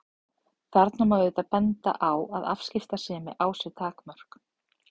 Þarna má auðvitað benda á að afskiptasemi á sér takmörk.